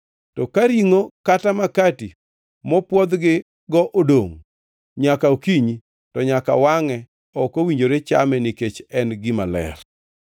To ka ringʼo kata makati mopwodhgigo odongʼ nyaka okinyi, to nyaka wangʼe. Ok owinjore chame nikech en gima ler.